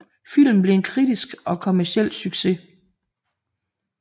Filmen blev en kritisk og kommerciel succes